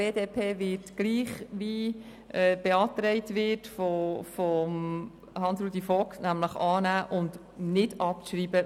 Die BDP wird so abstimmen wie von Grossrat Saxer beantragt, nämlich annehmen und nicht abschreiben.